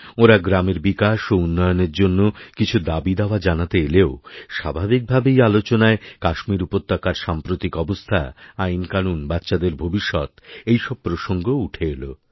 ওঁরা গ্রামের বিকাশ ও উন্নয়নের জন্য কিছু দাবিদাওয়া জানাতে এলেও স্বাভাবিকভাবেই আলোচনায় কাশ্মীর উপত্যকার সাম্প্রতিক অবস্থা আইনকানুন বাচ্চাদের ভবিষ্যৎ এই সব প্রসঙ্গও উঠে এলো